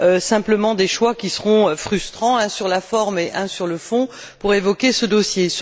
simplement des choix qui seront frustrants, un sur la forme et un sur le fond, pour évoquer ce dossier.